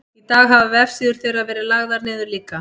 í dag hafa vefsíður þeirra verið lagðar niður líka